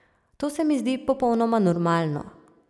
To se mi zdi popolnoma normalno.